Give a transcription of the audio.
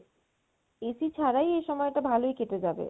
AC ছাড়াই এই সময়টা ভালোই কেটে যাবে